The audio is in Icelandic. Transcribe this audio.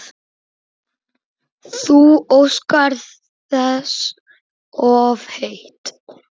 Þú óskar þess of heitt